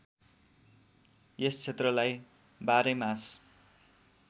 यस क्षेत्रलाई बाह्रैमास